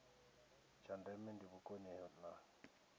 tsha ndeme ndi vhukoni ha